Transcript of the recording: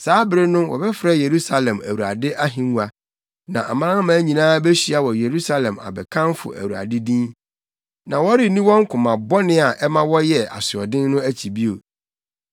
Saa bere no wɔbɛfrɛ Yerusalem Awurade Ahengua, na amanaman nyinaa behyia wɔ Yerusalem abɛkamfo Awurade din. Na wɔrenni wɔn koma bɔne a ɛma wɔyɛ asoɔden no akyi bio.